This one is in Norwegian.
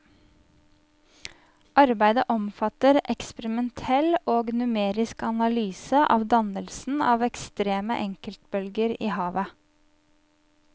Arbeidet omfatter eksperimentell og numerisk analyse av dannelsen av ekstreme enkeltbølger i havet.